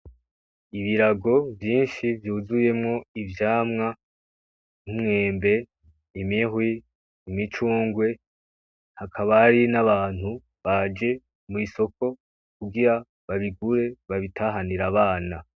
Ibirago vyinshi vyuzuyemwo ivyamwa, imyembe, imihwi, imicungwe hakaba hari n'abantu baje mw'isoko kugira babigure babitahanir'abana.